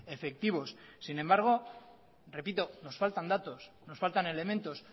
efectivos sin embargo repito nos faltan datos nos faltan elementos